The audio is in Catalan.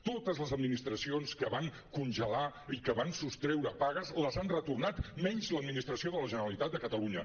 totes les administracions que van congelar i que van sostreure pagues les han retornat menys l’administració de la generalitat de catalunya